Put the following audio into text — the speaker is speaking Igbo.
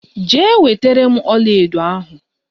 Jee wetere m ọlaedo ahụ!